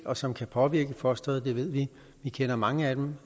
og som kan påvirke fosteret det ved vi vi kender mange af dem